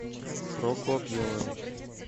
прокопьевым